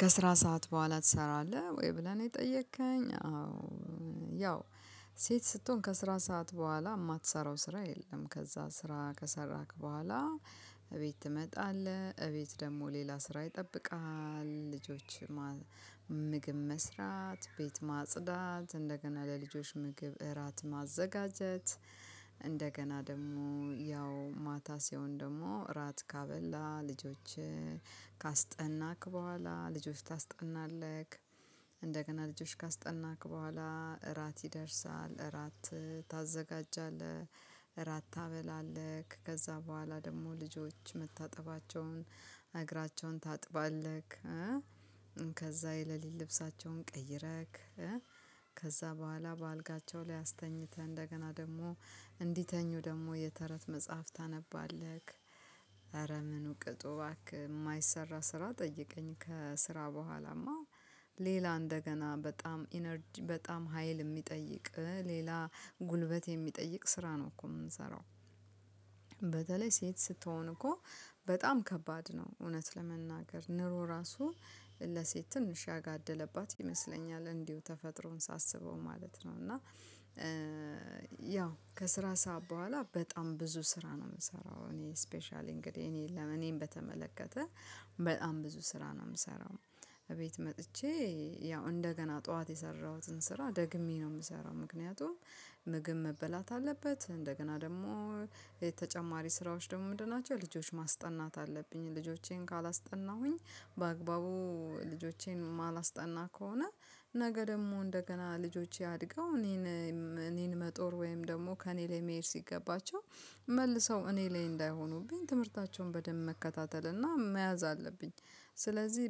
ከስራ ሰዓት በኋላ ትሰራለህ ወይ? ብለህ ነው የጠየከኝ አዎ ያው ሴት ስትሆን ከስራ ሰዓት በኋላ የማትሰራው ስራ የለም። ከዛ ስራ ከሰራክ በኋላ እቤት ትመጣለህ እቤት ደግሞ ሌላ ስራ ይጠብቅሃል። ልጆች አሉ ምግብ መስራት፣ ቤት ማጽዳት፣ እንደገና ለልጆች ምግብ እራት ማዘጋጀት፣ እንደገና ደግሞ ያው ማታ ሲሆን ደግሞ እራት ካበላን ልጆችን። ካስጠናክ በኋላ ልጆች ታስጠናለህ፣ እንደገና ልጆች ካስጠናክ በኋላ እራት ይደርሳል እራት ታዘጋጃለህ፣ እራት ታበላለህ፣ ከዛ በኋላ ደግሞ ልጆች መታጠባቸውን እግራቸውን ታጥባለክ፣ ከዛ የለሊት ልብሳቸውን ቀይረክ። ከዛ በኋላ በአልጋቸው ላይ አስተኛተህ እንደገና ደግሞ እንዲተኙ ደግሞ የተረት መጽሐፍ ታነባለህ። ኧረ ምን ቅጡ ባክህ የማይሰራ ስራ ጠይቀኝ። ከስራ በኋላማ ሌላ እንደገና በጣም ኢነርጂ በጣም ሀይል የሚጠይቅ ሌላ ጉልበት የሚጠይቅ ስራ ነው እኮ የምንሰራው። በተለይ ሴት ስትሆን እኮ በጣም ከባድ ነው። እውነት ለመናገር ኑሮ ራሱ ለሴት ትንሽ ያጋደለባት ይመስለኛል እንዲሁ ተፈጥሮን ሳስበው ማለት ነው። እና ያው ከስራ ሰዓት በኋላ በጣም ብዙ ስራ ነው የምሰራው። እኔ ስፔሻሊ እንግዲህ እኔን ለእኔን በተመለከተ በጣም ብዙ ስራ ነው የምሰራው። እቤት መጥቼ ያው እንደገና ጠዋት የሰራሁትን ስራ ደግሜ ነው የምሰራው። ምክንያቱም ምግብ መበላት አለበት እንደገና ደግሞ ተጨማሪ ስራዎች ደግሞ ምንድን ናቸው ልጆች ማስጠናት አለብኝ። ልጆቼን ካላስጠናሁኝ በአግባቡ ልጆቼን ማላስጠና ከሆነ ነገ ደግሞ እንደገና ልጆቼ አድገው እኔን እኔን መጦር ወይም ደግሞ ከእኔ ላይ መሄድ ሲገባቸው መልሰው እኔ ላይ እንዳይሆኑብኝ ትምህርታቸውን በደንብ መከታተል እና መያዝ አለብኝ። ስለዚህ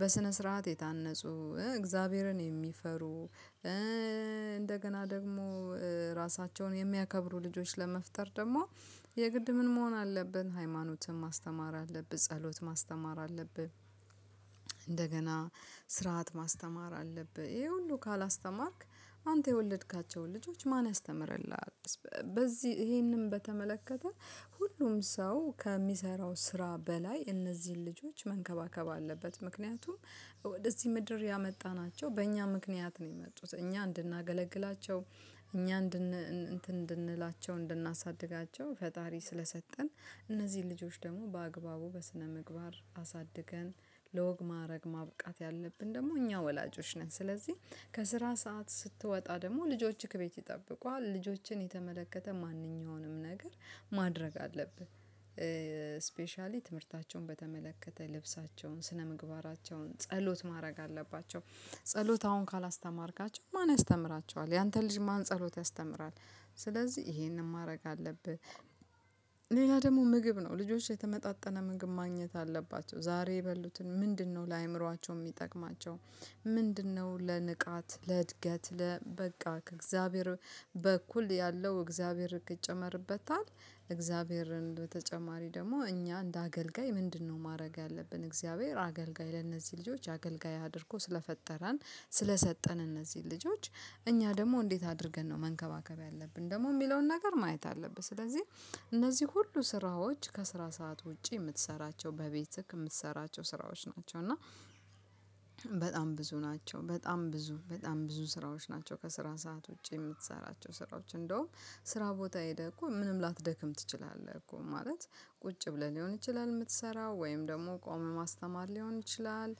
በስነ ስርዓት የታነፁ፣ እግዚአብሔርን የሚፈሩ፣ እንደገና ደግሞ ራሳቸውን የሚያከብሩ ልጆች ለመፍጠር ደግሞ የግድ ምን መሆን አለብን። ሃይማኖትን ማስተማር፣ ጸሎት ማስተማር አለብህ፣ እንደገና ስርዓት ማስተማር አለብህ። ይሄ ሁሉ ካላስተማርክ አንተ የወለድካቸውን ልጆች ማን ያስተምርልሃል? በዚህ ይሄንን በተመለከተ ሁሉም ሰው ከሚሰራው ስራ በላይ እነዚህን ልጆች መንከባከብ አለበት፣ ምክንያቱም ወደዚህ ምድር ያመጣናቸው በእኛ ምክንያት ነው የመጡት። እኛ እንድናገለግላቸው፣ እኛ እንድንላቸው እንድናሳድጋቸው ፈጣሪ ስለሰጠን እነዚህ ልጆች ደግሞ በአግባቡ በስነምግባር አሳድገን ለወግ ማዕረግ ማብቃት ያለብን ደግሞ እኛ ወላጆች ነን። ስለዚህ ከስራ ሰዓት ስትወጣ ደግሞ ልጆችን ከቤት ይጠብቁሃል ልጆችን የተመለከተ ማንኛውንም ነገር ማድረግ አለብህ። ስፔሻሊ ትምህርታቸውን በተመለከተ ልብሳቸውን፣ ስነምግባራቸውን፣ ጸሎት ማድረግ አለባቸው፣ ጸሎት አሁን ካላስተማርካቸው ማን ያስተምራቸዋል ያንተ ልጅ ማን ጸሎት ያስተምራል? ስለዚህ ይሄንን ማድረግ አለብህ። ሌላ ደግሞ ምግብ ነው ልጆች የተመጣጠነ ምግብ ማግኘት አለባቸው ዛሬ የበሉትን ምንድነው ለአእምሮአቸው የሚጠቅማቸው? ምንድነው ለንቃት ለእድገት ለበቃ ከእግዚአብሔር በኩል ያለው እግዚአብሔር ይጨመርበታል። እግዚአብሔርን በተጨማሪ ደግሞ እኛ እንደ አገልጋይ ምንድነው ማድረግ ያለብን? እግዚአብሔር አገልጋይ ለእነዚህ ልጆች አገልጋይ አድርጎ ስለፈጠረን ስለሰጠን እነዚህ ልጆች እኛ ደግሞ እንዴት አድርገን ነው መንከባከብ ያለብን ደግሞ የሚለውን ነገር ማየት አለብህ። ስለዚህ እነዚህ ሁሉ ስራዎች ከስራ ሰዓት ውጪ የምትሰራቸው በቤትህ የምትሰራቸው ስራዎች ናቸው። እና በጣም ብዙ ናቸው በጣም ብዙ በጣም ብዙ ስራዎች ናቸው። ከስራ ሰዓት ውጪ የምትሰራቸው ስራዎች እንደውም ስራ ቦታ ሄደህ እኮ ምንም ላተደክም ትችላለህ። እኮ ማለት ቁጭ ብለህ ሊሆን ይችላል የምትሰራው ወይም ደግሞ ቆመ ማስተማር ሊሆን ይችላል።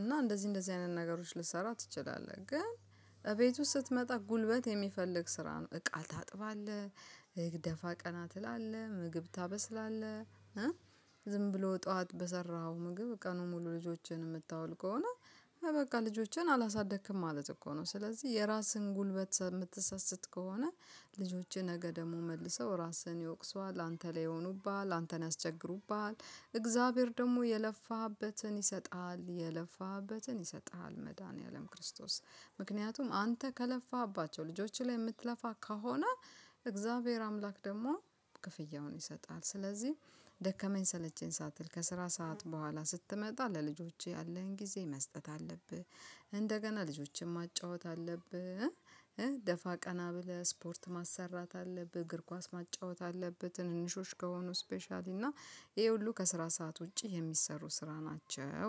እና እንደዚህ እንደዚህ አይነት ነገሮች ልትሰራ ትችላለህ። ግን እቤት ውስጥ ስትመጣ ጉልበት የሚፈልግ ስራ ነው፣ እቃ ታጥፋለህ ደፋ ቀና ትላለህ፣ ምግብ ታበስላለህ። ዝም ብሎ ጠዋት በሰራኸው ምግብ ቀኑን ሙሉ ልጆችን የምታውል ከሆነ በቃ ልጆችን አላሳደግክም ማለት እኮ ነው። ስለዚህ የራስህን ጉልበት የምትሰስት ከሆነ ልጆችህን ነገ ደግሞ መልሰው ራስህን ይወቅሱዋል፣ አንተ ላይ ይሆኑብሃል፣ አንተን ያስቸግሩብሃል፣ እግዚአብሔር ደግሞ የለፋህበትን ይሰጣል፣ የለፋህበትን ይሰጥሃል። መድኃኒዓለም ክርስቶስ ምክንያቱም አንተ ከለፋህባቸው ልጆችህ ላይ የምትለፋ ከሆነ እግዚአብሔር አምላክ ደግሞ ክፍያውን ይሰጣል። ስለዚህ ደከመኝ ሰለቸኝ ሳትል ከስራ ሰዓት በኋላ ስትመጣ ለልጆችህ ያለህን ጊዜ መስጠት አለብህ። እንደገና ልጆችን ማጫወት አለብህ፣ ደፋ ቀና ብለህ ስፖርት ማሰራት አለብህ፣ እግር ኳስ ማጫወት አለብህ። ትንንሾች ከሆኑ ስፔሻሊ እና ይሄ ሁሉ ከስራ ሰዓት ውጪ የሚሰሩ ስራ ናቸው።